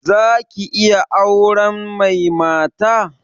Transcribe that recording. Za ki iya auren mai mata?